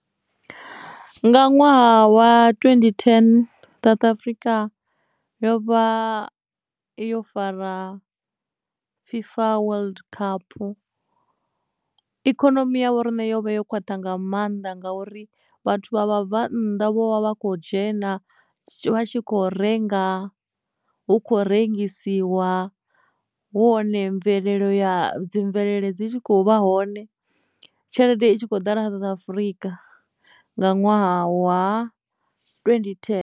Nga ṅwaha wa twendi ten South Afrika yo vha yo fara Fifa World Cup ikonomi ya vhoriṋe yovha yo khwaṱha nga mannḓa ngauri vhathu vha vha bva nnḓa vho vha vha kho dzhena vha tshi kho renga hu kho rengisiwa hu hone dzi mvelele dzi tshi khou vha hone tshelede i tshi kho ḓala South Africa nga ṅwaha wa twendi thene.